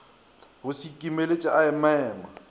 go se ikimeletše a emaeme